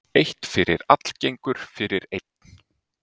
Eitt fyrir allagengur fyrir einn.